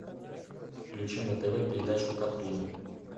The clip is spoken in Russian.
включи на тв передачу катун